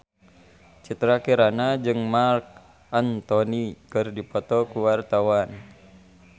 Citra Kirana jeung Marc Anthony keur dipoto ku wartawan